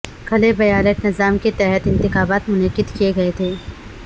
کھلے بیالٹ نظام کے تحت یہ انتخابات منعقد کئے گئے تھے